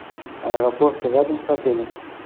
аэропорт рядом с отелем